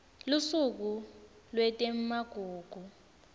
lusuku lwetemagugu